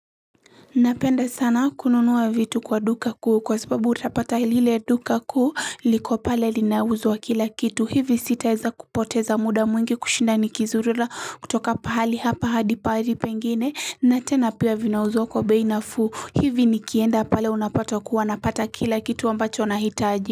Napenda sana kununuwa vitu kwa duka kuu kwa sababu utapata lile duka kuu liko pale linauzwa kila kitu. Hivi sitaweza kupoteza muda mwingi kushinda nikizurura. Kutoka pahali hapa hadi pahali pengine na tena pia vinauzwa kwa bei nafuu. Hivi nikienda pale unapata kuwa napata kila kitu ambacho nahitaji.